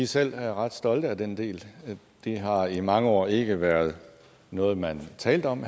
selv ret stolte af den del det har i mange år ikke været noget man talte om